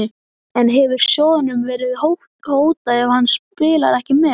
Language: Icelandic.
En hefur sjóðnum verið hótað ef hann spilar ekki með?